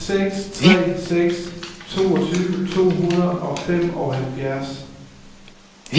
fire seks tre seks toogtyve to hundrede og femoghalvfjerds